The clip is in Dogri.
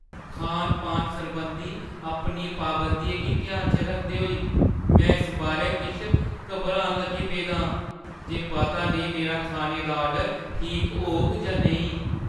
खान-पान सरबंधी अपनियें पाबंदियें गी ध्यान च रखदे होई, में इस बारै किश घबरान लगी पेदा आं जे पता नेईं मेरा खाने दा ऑर्डर ठीक होग जां नेईं।